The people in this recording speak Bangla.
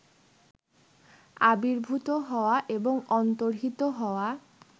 আবির্ভূত হওয়া এবং অন্তর্হিত হওয়া